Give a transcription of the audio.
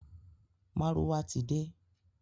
Márúwá ti de.